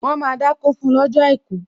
Wọn máa dákó fún lọ́jọ́ àìkú